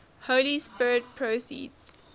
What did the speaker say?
holy spirit proceeds